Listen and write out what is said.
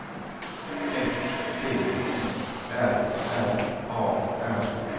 S T I R R A R